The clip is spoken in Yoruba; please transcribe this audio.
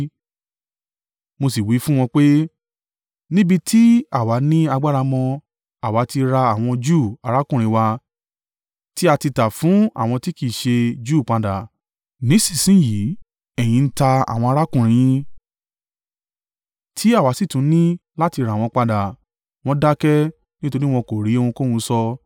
Mo sì wí fún wọn pé, “Níbi tí àwa ní agbára mọ, àwa ti ra àwọn Júù arákùnrin wa tí a ti tà fún àwọn tí kì í ṣe Júù padà. Nísinsin yìí ẹ̀yìn ń ta àwọn arákùnrin yín, tí àwa sì tún ní láti rà wọ́n padà!” Wọ́n dákẹ́, nítorí wọn kò rí ohunkóhun sọ.